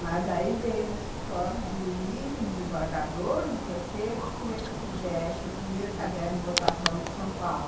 Mas aí veio no meu escritório um juiz, um desembargador, que queria que eu fizesse o primeiro caderno de votação de São Paulo.